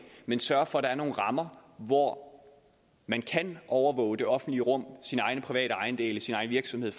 men sørge for at der er nogle rammer hvor man kan overvåge det offentlige rum sine egne private ejendele sin egen virksomhed